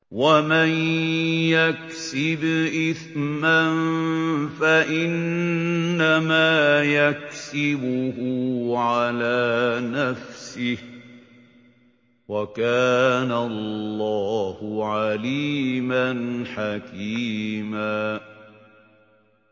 وَمَن يَكْسِبْ إِثْمًا فَإِنَّمَا يَكْسِبُهُ عَلَىٰ نَفْسِهِ ۚ وَكَانَ اللَّهُ عَلِيمًا حَكِيمًا